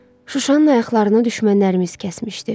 Şuşanın ayaqlarını düşmənlərimiz kəsmişdi.